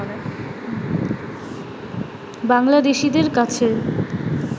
বাংলাদেশিদের কাছে